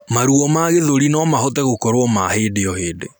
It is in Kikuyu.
Maruo ma gĩthũri nomahote gũkorwo ma hĩndĩ o hĩndĩ